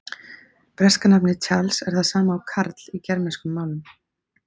Breska nafnið Charles er það sama og Karl í germönskum málum.